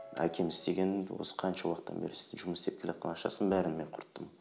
әкем істеген осы қанша уақыттан бері жұмыс істеп келатқан ақшасын бәрін мен құрттым